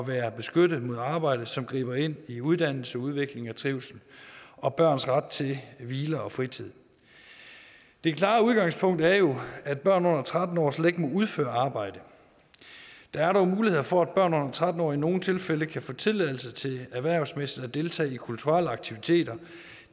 være beskyttet mod arbejde som griber ind i uddannelse udvikling og trivsel og børns ret til hvile og fritid det klare udgangspunkt er jo at børn under tretten år slet ikke må udføre arbejde der er dog muligheder for at børn under tretten år i nogle tilfælde kan få tilladelse til erhvervsmæssigt at deltage i kulturelle aktiviteter